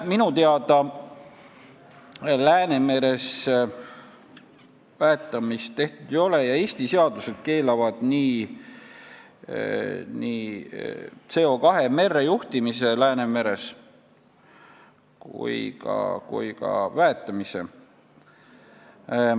Minu teada Läänemeres väetamist tehtud ei ole ja Eesti seadused keelavad nii CO2 merre juhtimise Läänemeres kui ka väetamise.